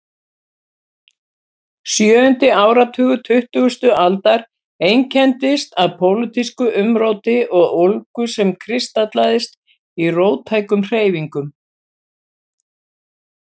Sjöundi áratugur tuttugustu aldar einkenndist af pólitísku umróti og ólgu sem kristallaðist í róttækum hreyfingum.